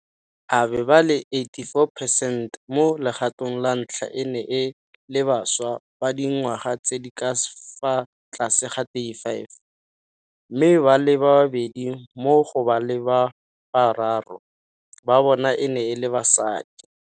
A be ba le 84 percent mo legatong la ntlha e ne e le bašwa ba dingwaga tse di ka fa tlase ga 35, mme ba le babedi mo go ba le bararo ba bona e ne e le basadi.